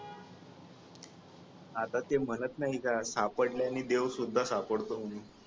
आता ते म्हणत नाही का सापडल्याने देव सुद्धा सापडतो म्हणून